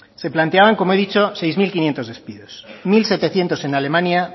se planteaban como he dicho seis mil quinientos despidos mil setecientos en alemania